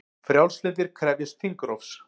Frjálslyndir krefjast þingrofs